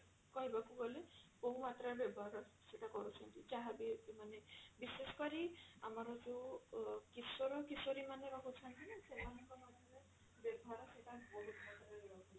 କହିବାକୁ ଗଲେ ବହୁ ମାତ୍ରା ରେ ବ୍ୟବହାର ସେଟା କରୁଛନ୍ତି ଯାହାବି ମାନେ ବିଶେଷ କରି ଆମର ଯଉ ଅ କିଶୋର କିଶୋରୀ ମାନେ ରହୁଛନ୍ତି ନା ସେମାନଙ୍କ